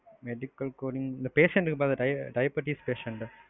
medical coding patient இருப்பாங்க diabetics patient.